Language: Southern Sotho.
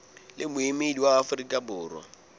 le moemedi wa afrika borwa